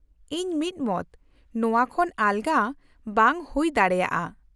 -ᱤᱧ ᱢᱤᱫᱢᱚᱛ! ᱱᱚᱶᱟ ᱠᱷᱚᱱ ᱟᱞᱜᱟ ᱵᱟᱝ ᱦᱩᱭ ᱫᱟᱲᱮᱭᱟᱜᱼᱟ ᱾